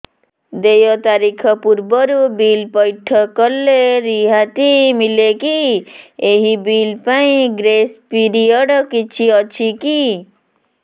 ଦେୟ ତାରିଖ ପୂର୍ବରୁ ବିଲ୍ ପୈଠ କଲେ ରିହାତି ମିଲେକି ଏହି ବିଲ୍ ପାଇଁ ଗ୍ରେସ୍ ପିରିୟଡ଼ କିଛି ଅଛିକି